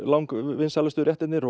vinsælustu réttirnir